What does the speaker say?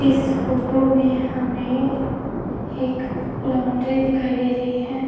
इस फोटो में हमें एक लॉन्ड्री दिखाई दे रही है।